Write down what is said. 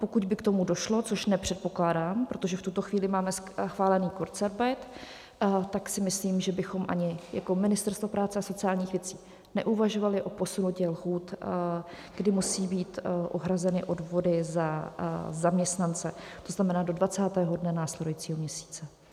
Pokud by k tomu došlo, což nepředpokládám, protože v tuto chvíli máme schválený kurzarbeit, tak si myslím, že bychom ani jako Ministerstvo práce a sociálních věcí neuvažovali o posunutí lhůt, kdy musí být uhrazeny odvody za zaměstnance, to znamená do 20. dne následujícího měsíce.